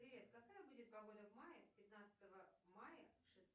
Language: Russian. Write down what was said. привет какая будет погода в мае пятнадцатого мая